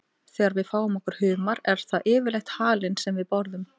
Þegar við fáum okkur humar er það yfirleitt halinn sem við borðum.